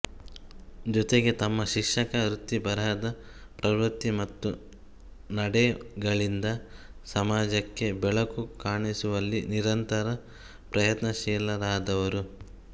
ಜೊತೆಗೆ ತಮ್ಮ ಶಿಕ್ಷಕ ವೃತ್ತಿ ಬರಹ ಪ್ರವೃತ್ತಿ ಮತ್ತು ನಡೆಗಳಿಂದ ಸಮಾಜಕ್ಕೆ ಬೆಳಕು ಕಾಣಿಸುವಲ್ಲಿ ನಿರಂತರ ಪ್ರಯತ್ನಶೀಲರಾದವರು